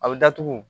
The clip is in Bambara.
A bɛ datugu